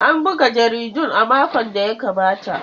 An buga jaridun a makon da ya gabata.